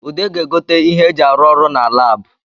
Ude ga-egote ihe e ji arụ ọrụ na Lab